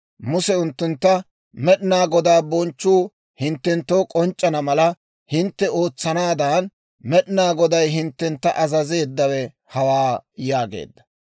Muse unttuntta, «Med'inaa Godaa bonchchuu hinttenttoo k'onc'c'ana mala, hintte ootsanaadan Med'inaa Goday hinttena azazeeddawe hawaa» yaageedda.